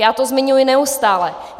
Já to zmiňuji neustále.